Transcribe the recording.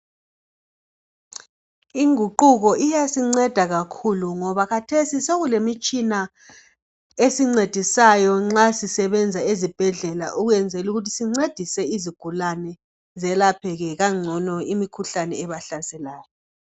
Inguquko iyasinceda kakhulu ngoba khathesi sekulemitshina esincedisayo nxa sisebenza esibhedlela ukwenzela ukuthi sincedisa izigulane zelapheke kangcono imikhuhlane ebahlaselayo.